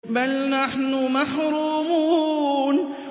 بَلْ نَحْنُ مَحْرُومُونَ